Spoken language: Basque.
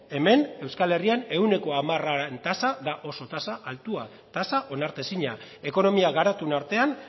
hemen euskal herrian ehuneko hamararen tasan da oso tasa altua tasa onartezina ekonomia garatuen artean